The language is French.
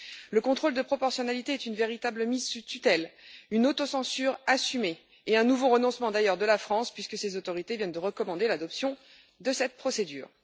Le contrôle de proportionnalité est une véritable mise sous tutelle, une autocensure assumée et un nouveau renoncement d'ailleurs de la France, puisque ses autorités viennent de recommander l'adoption de cette procédure.